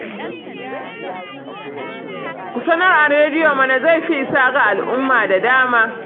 Ku sanar a rediyo mana, zai fi isa ga al'umma da dama